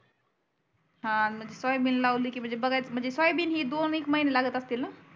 हा म्हणजे सोयाबीन लावली की सोयाबीन ही दोन एक महीने लागत असतील न